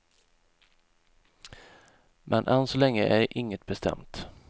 Men än så länge är inget bestämt.